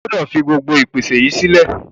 O gbúdọ̀ fi gbogbo ìpèsè yìí sílẹ̀.